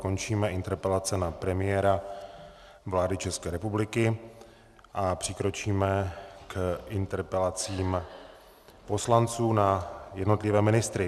Končíme interpelace na premiéra vlády České republiky a přikročíme k interpelacím poslanců na jednotlivé ministry.